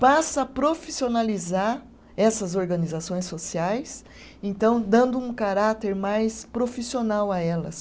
passa a profissionalizar essas organizações sociais, então dando um caráter mais profissional a elas.